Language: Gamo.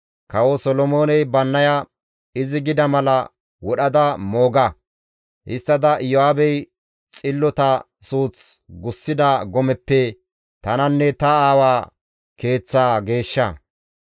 Kawo Solomooney Bannaya, «Izi gida mala wodhada mooga! Histtada Iyo7aabey xillota suuth gussida gomeppe tananne ta aawaa keeththaa geeshsha.